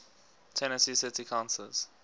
tennessee city councillors